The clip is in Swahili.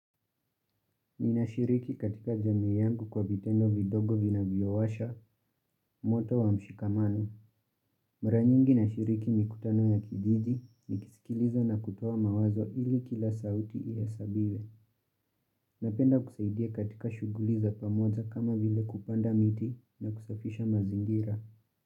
Ninashiriki katika jamii yangu kwa vitendo vidogo vina vivyowasha, moto wa mshikamano. Mara nyingi nashiriki mikutano ya kijiji, nikisikiliza na kutoa mawazo ili kila sauti ihesabiwe. Napenda kusaidia katika shuguli za pamoja kama vile kupanda miti na kusafisha mazingira.